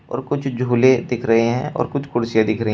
और कुछ झूले दिख रहे हैं और कुछ कुर्सीयां दिख रही--